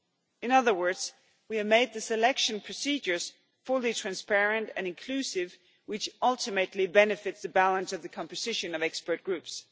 In other words, we have made the selection procedures fully transparent and inclusive, which ultimately benefits the balance of the composition of expert groups.